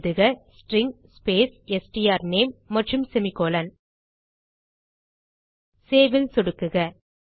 எழுதுக string space strname மற்றும் semicolon save ல் சொடுக்குக